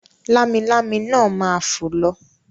Lámilámi náà ma fò lọ.